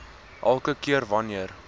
elke keer wanneer